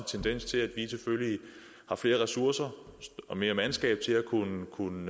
tendens til at vi selvfølgelig har flere ressourcer og mere mandskab til at kunne kunne